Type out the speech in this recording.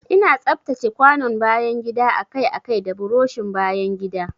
Ina tsaftace kwanon bayan gida akai-akai da burushin bayan gida.